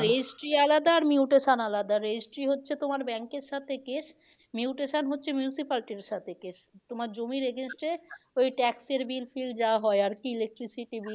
Registry আলাদা আর mutation আলাদা registry হচ্ছে তোমার bank এর সাথে কেস mutation হচ্ছে municipality সাথে কেস। তোমার জমির against এ ওই tax এর bill ফিল যা হয় আর কি electricity bill